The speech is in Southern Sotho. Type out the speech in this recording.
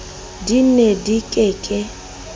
di ne di ke ke